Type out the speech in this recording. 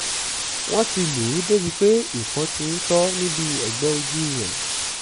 wọ́n ti lù ú débíi pé ìpọ́n ti ń tọ́ níbi ẹgbẹ́ ojú rẹ̀